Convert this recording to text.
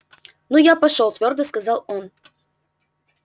ну я пошёл твёрдо сказал он